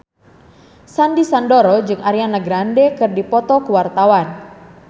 Sandy Sandoro jeung Ariana Grande keur dipoto ku wartawan